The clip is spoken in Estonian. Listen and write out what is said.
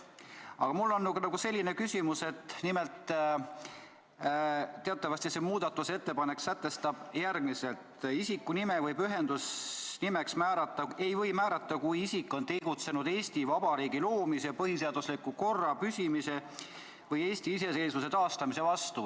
Aga mul on küsimus selle kohta, et teatavasti see muudatusettepanek sätestab järgmist: "Isikunime ei või pühendusnimeks määrata, kui isik on tegutsenud Eesti Vabariigi loomise, põhiseadusliku korra püsimise või Eesti iseseisvuse taastamise vastu.